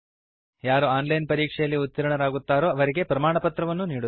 ಯಾರು online ಪರೀಕ್ಷೆಯಲ್ಲಿ ಉತ್ತೀರ್ಣರಾಗುತ್ತಾರೋ ಅವರಿಗೆ ಪ್ರಮಾಣಪತ್ರವನ್ನೂ ನೀಡುತ್ತದೆ